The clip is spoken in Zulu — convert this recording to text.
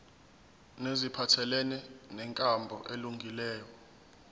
neziphathelene nenkambo elungileyo